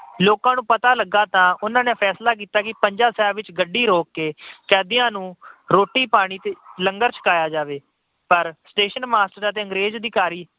ਲੋਕਾਂ ਨੂੰ ਪਤਾ ਲੱਗਾ ਤਾਂ ਉਹਨਾਂ ਨੇ ਫੈਸਲਾ ਕੀਤਾ ਕਿ ਪੰਜਾ ਸਾਹਿਬ ਵਿੱਚ ਗੱਡੀ ਰੋਕ ਕੇ ਕੈਦੀਆਂ ਨੂੰ ਰੋਟੀ-ਪਾਣੀ ਤੇ ਲੰਗਰ ਛਕਾਇਆ ਜਾਵੇ ਪਰ station master ਅਤੇ ਅੰਗਰੇਜ ਅਧਿਕਾਰੀ